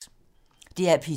DR P2